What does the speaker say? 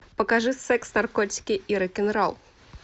покажи секс наркотики и рок н ролл